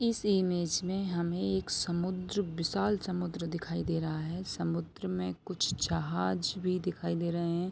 इस इमेज मे हमे एक समुन्द्र विशाल समुन्द्र दिखाई दे रहा है समुन्द्र मे कुछ जहाज भी दिखाई दे रहे हैं।